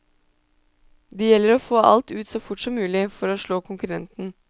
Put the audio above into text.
Det gjelder å få alt ut så fort som mulig, for å slå konkurrenten.